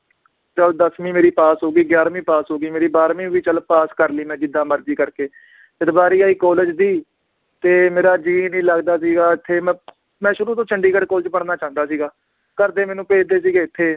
ਚਲ ਦੱਸਵੀ ਮੇਰੀ ਪਾਸ ਹੋ ਗਈ, ਗਿਆਰਵੀ ਪਾਸ ਹੋਗੀ ਮੇਰੀ ਬਾਰ੍ਹਵੀਂ ਵੀ ਚਲ ਪਾਸ ਕਰਲੀ ਮੈ ਜਿੱਦਾਂ ਮਰਜੀ ਕਰਕੇ, ਜਦ ਵਾਰੀ ਆਈ college ਦੀ ਤੇ ਮੇਰਾ ਜੀ ਨੀ ਲੱਗਦਾ ਸੀਗਾ ਇਥੇ ਮੈਂ ਮੈ ਸ਼ੁਰੂ ਤੋਂ ਚੰਡੀਗੜ੍ਹ college ਚ ਪੜ੍ਹਨਾ ਚਾਹੁੰਦਾ ਸੀਗਾ, ਘਰਦੇ ਮੈਨੂੰ ਭੇਜਦੇ ਸੀਗੇ ਇਥੇ